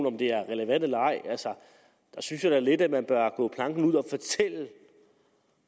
om det er relevant eller ej der synes jeg da lidt man må bør gå planken ud og fortælle